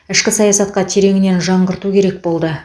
ішкі саясатқа тереңінен жаңғырту керек болды